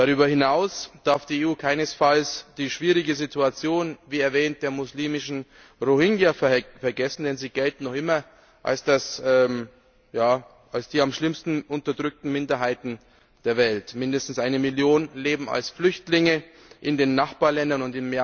Darüber hinaus darf die EU keinesfalls die schwierige Situation, wie erwähnt, der muslimischen Rohingya vergessen, denn sie gelten noch immer als die am schlimmsten unterdrückten Minderheiten der Welt. Mindestens eine Million leben als Flüchtlinge in den Nachbarländern.